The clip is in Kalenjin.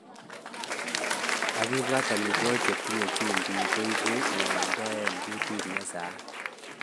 Akipwat, amitwogik chetindoi chumbik koipu ng'wonindo eng kutit ne saat